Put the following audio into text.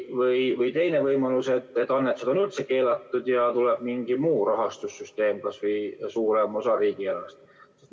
Või teine võimalus, et annetused on üldse keelatud ja tuleb mingi muu rahastussüsteem, kas või suurem osa riigieelarvest.